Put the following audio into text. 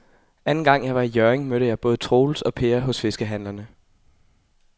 Anden gang jeg var i Hjørring, mødte jeg både Troels og Per hos fiskehandlerne.